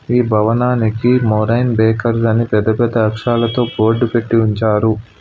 ఈ భవనానికి Moraine Bakers అని పెద్ద పెద్ద అక్షరాలతో బోర్డు పెట్టి ఉంచారు.